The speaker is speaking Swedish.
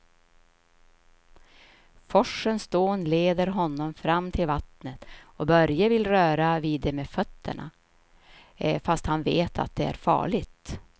Forsens dån leder honom fram till vattnet och Börje vill röra vid det med fötterna, fast han vet att det är farligt.